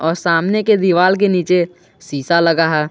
और सामने के दिवाल के नीचे शीशा लगा है।